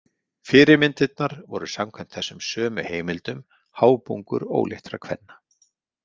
Fyrirmyndirnar voru samkvæmt þessum sömu heimildum hábungur óléttra kvenna.